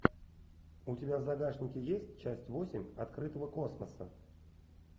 у тебя в загашнике есть часть восемь открытого космоса